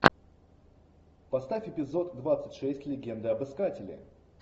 поставь эпизод двадцать шесть легенда об искателе